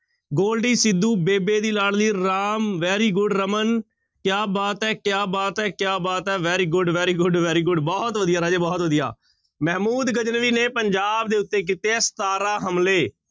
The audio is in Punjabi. ਗੋਲਡੀ ਸਿੱਧੂ, ਬੇਬੇ ਦੀ ਲਾਡਲੀ ਰਾਮ very good ਰਮਨ ਕਿਆ ਬਾਤ ਹੈ, ਕਿਆ ਬਾਤ ਹੈ, ਕਿਆ ਬਾਤ ਹੈ very good, very good, very good ਬਹੁਤ ਵਧੀਆ ਰਾਜੇ ਬਹੁਤ ਵਧੀਆ, ਮਹਿਮੂਦ ਗਜਨਵੀ ਨੇ ਪੰਜਾਬ ਦੇ ਉੱਤੇ ਕੀਤੇ ਹੈ ਸਤਾਰਾਂ ਹਮਲੇ।